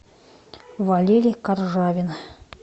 валерий каржавин